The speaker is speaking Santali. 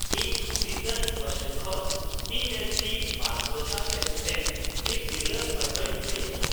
ᱤᱧ ᱫᱤᱥᱟᱝ ᱦᱳᱥᱴᱮᱞ ᱠᱷᱚᱱ ᱯᱤ ᱮᱭᱤᱪ ᱰᱤ ᱒ ᱫᱚᱥᱟᱨ ᱥᱮᱨᱢᱟ ᱨᱮᱱ ᱢᱤᱫ ᱛᱤᱨᱞᱟᱹ ᱯᱟᱹᱴᱷᱣᱟᱹᱧ ᱞᱟᱹᱭ ᱮᱫᱟ ᱾